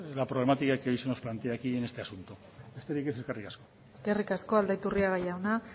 la problemática que hoy se nos plantea aquí en este asunto besterik ez eskerrik asko eskerrik asko aldaiturriaga jauna